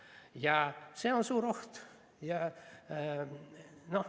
Ja see on suur oht.